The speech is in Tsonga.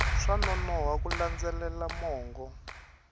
swa nonoha ku landzelela mongo